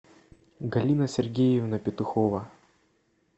галина сергеевна петухова